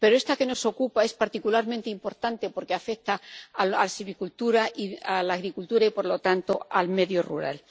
Pero esta que nos ocupa es particularmente importante porque afecta a la silvicultura y a la agricultura y, por lo tanto, al medio rural.